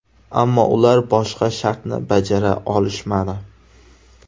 Ammo ular boshqa shartni bajara olishmadi.